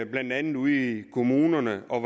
blandt andet ude i kommunerne og